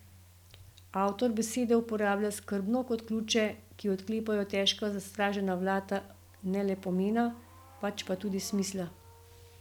Avtor besede uporablja skrbno kot ključe, ki odklepajo težka zastražena vrata ne le pomena, pač pa tudi smisla.